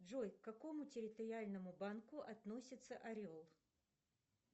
джой к какому территориальному банку относится орел